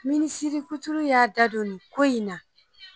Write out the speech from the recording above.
Minisiri kuturu y'a da don nin ko in na